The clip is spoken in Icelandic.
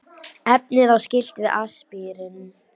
Efnið á skylt við aspirín.